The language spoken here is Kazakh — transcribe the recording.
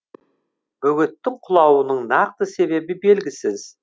бөгеттің құлауының нақты себебі белгісіз